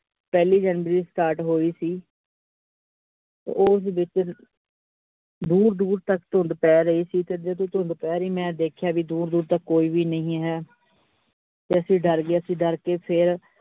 ਪਹਿਲੀ january start ਹੋਈ ਸੀ ਤੇ ਉਸ ਵਿੱਚ ਦੂਰ ਦੂਰ ਤਕ ਧੁੰਦ ਪੈ ਰਹੀ ਸੀ ਤੇ ਜਦੋ ਧੁੰਦ ਪੈ ਰਹੀ ਤੇ ਮੈ ਦੇਖਿਆ ਦੂਰ ਦੂਰ ਤੱਕ ਕੋਈ ਵੀ ਨਹੀਂ ਹੈ ਅਸੀ ਡਰ ਗਏ ਤੇ ਡਰ ਕੇ ਫੇਰ